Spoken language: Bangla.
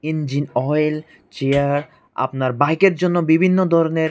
ইঞ্জিন অয়েল চেয়ার আপনার বাইকের জন্য বিভিন্ন ধরণের--